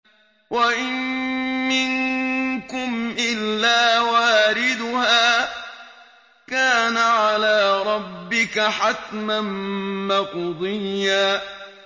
وَإِن مِّنكُمْ إِلَّا وَارِدُهَا ۚ كَانَ عَلَىٰ رَبِّكَ حَتْمًا مَّقْضِيًّا